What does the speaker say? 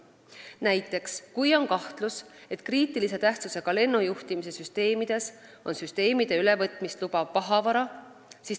Näiteks, kui on kahtlus, et kriitilise tähtsusega lennujuhtimissüsteemides on süsteemide ülevõtmist lubav pahavara.